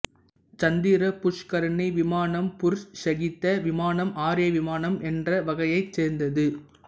சந்திர புஷ்கரணி விமானம் புருஷ ஷீக்த விமானம் ஆர்ய விமானம் என்ற வகையைச் சேர்ந்தது